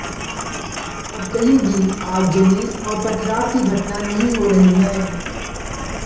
अब कहीं भी आगजनी और पथराव की घटना नहीं हो रही है